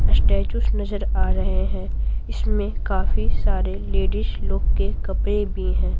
Statues नजर आ रहे हैं इसमें काफी सारे लेडीज लोग के कपड़े भी हैं।